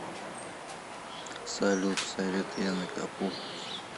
салют совет яны капу